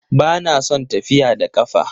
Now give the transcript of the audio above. Ba na son tafiya da ƙafa